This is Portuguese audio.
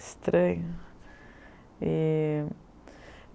Estranho. E